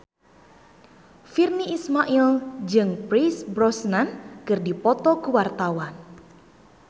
Virnie Ismail jeung Pierce Brosnan keur dipoto ku wartawan